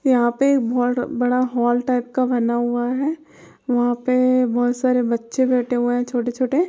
यहां पे बोहोत बड़ा हॉल टाइप का बना हुआ है। वहां पे बोहोत सारे बच्चे बैठे हुए है छोटे-छोटे---